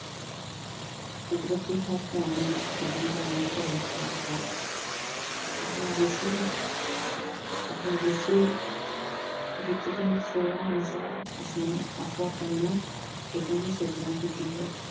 ਕੁਦਰਤ ਤੇ ਹਰ ਪ੍ਰਾਣੀ ਵਿੱਚ ਖੇਡਣ ਦਾ ਗੁਣ ਭਰਿਆ ਹੋਇਆ ਹੈ। ਆਪਣੇ ਗੁੱਸੇ, ਆਪਣੇ ਜੁੱਸੇ, ਵਿੱਤ ਤੇ ਸੁਭਾਅ ਅਨੁਸਾਰ ਉਸ ਨੇ ਆਪੋ-ਆਪਣੀਆਂ ਖੇਡਾਂ ਦੀ ਸਿਰਜਣਾ ਕੀਤੀ ਹੈ।